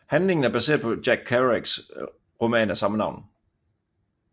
Handlingen er baseret på Jack Kerouacs roman af samme navn